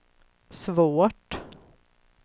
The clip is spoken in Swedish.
svårt